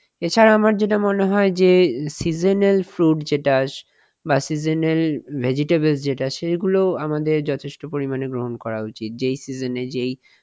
এছাড়া আমার যেটা মনে হয় যে যে seasonal fruit যেটা বাহঃ seasonal vegetable যেটা সেগুলো আমাদের যথেষ্ট পরিমাণে গ্রহণ করা উচিত যেই season এ যেই